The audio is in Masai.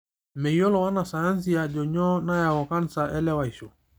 Meyiolo wanasayansi ajo nyoo nayau kansa elewaisho.